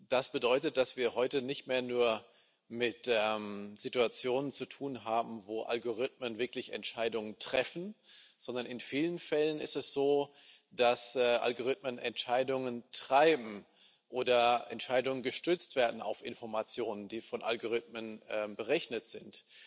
Das bedeutet, dass wir heute nicht mehr nur mit der Situation zu tun haben, in der Algorithmen wirklich Entscheidungen treffen, sondern in vielen Fällen ist es so, dass Algorithmen Entscheidungen treiben oder Entscheidungen auf Informationen gestützt werden, die von Algorithmen berechnet sind.